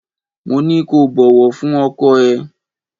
Mo ní kó bọ̀wọ̀ fún ọkọ ẹ.